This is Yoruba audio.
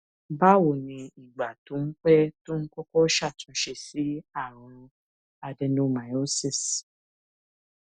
báwo ni ìgbà tó ń pé tó kókó ṣàtúnṣe sí àrùn adenomyosis